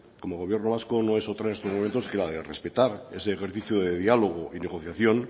como gobierno vasco no es otra en estos momentos que la de respetar ese ejercicio de diálogo y negociación